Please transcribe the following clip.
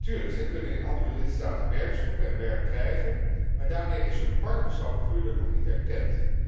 Natuurlijk, zij kunnen in andere lidstaten werk zoeken en werk krijgen, maar daarmee is hun partnerschap of huwelijk nog niet erkend.